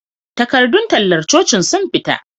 Takardun tallar cocin sun fita